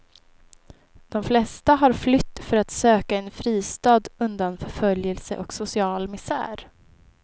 De flesta har flytt för att söka en fristad undan förföljelse och social misär.